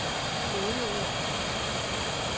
kodeord